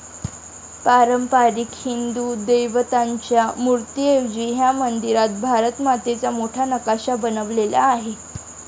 पारंपारिक हिंदू देवदेवतांच्या मूर्तीऐवजी ह्या मंदिरात भारत मातेचा मोठा नकाशा बनवलेला आहे.